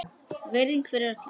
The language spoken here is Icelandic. Virðing fyrir öllum.